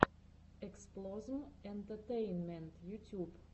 эксплозм энтетейнмент ютюб